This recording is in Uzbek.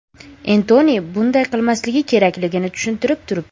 Entoni bunday qilmasligi kerakligini tushunib turibdi.